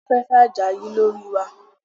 Aláfẹ́fẹ́ àjà ń yí lórí wa